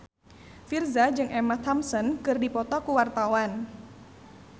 Virzha jeung Emma Thompson keur dipoto ku wartawan